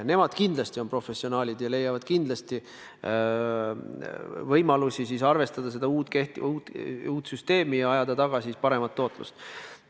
Ja nemad kindlasti on professionaalid ja leiavad võimalusi arvestada seda uut süsteemi ja ajada taga paremat tootlust.